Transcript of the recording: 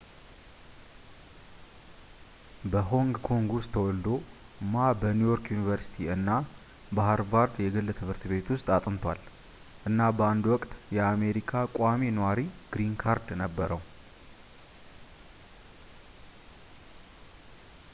በሆንግ ኮንግ ውስጥ ተወልዶ ማ በኒውዮርክ ዩኒቨርሲቲ እና በሀርቫርድ የህግ ትምህርት ቤት ውስጥ አጥንቷል እና በአንድ ውቅት የአሜሪካ ቋሚ ኗሪ ግሪን ካርድ ነበረው